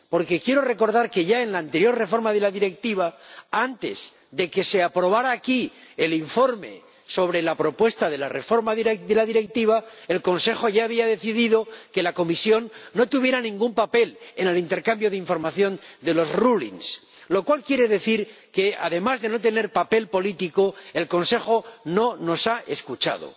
Porque quiero recordar que, ya en la anterior reforma de la Directiva, antes de que se aprobara aquí el informe sobre la propuesta de la reforma de la Directiva, el Consejo ya había decidido que la Comisión no tuviera ningún papel en el intercambio de información de los rulings lo cual quiere decir que, además de no tener papel político, el Consejo no nos ha escuchado.